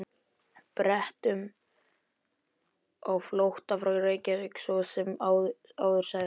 Bretum á flótta frá Reykjavík, svo sem áður sagði.